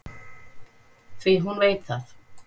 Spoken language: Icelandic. Því hún veit það.